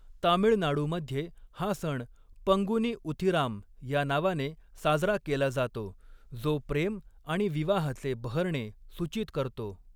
तामिळनाडूमध्ये, हा सण 'पंगुनी उथिराम' ह्या नावाने साजरा केला जातो, जो प्रेम आणि विवाहाचे बहरणे सूचित करतो.